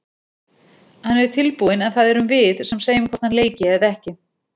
Hann er tilbúinn en það erum við sem segjum hvort hann leiki eða ekki.